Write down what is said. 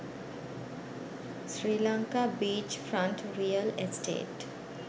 sri lanka beach front real estate